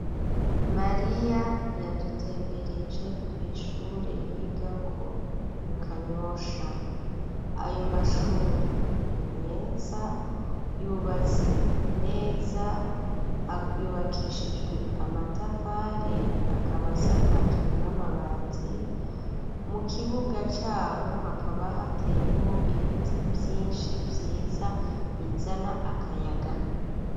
Mariya yadutembereje kw'ishure yigako mu kanyosha ayo mashure ni meza yubatse neza yubakishijwe amatafari akabasakajwe n'amabati mu kibuga vyaho hakaba hateyemwo ibiti vyinshi vyiza bizana akayaga.